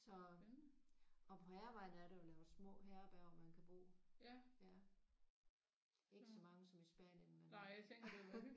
Og på Hærvejen er der jo lavet små herberger man kan bo. Ikke så mange som i Spanien men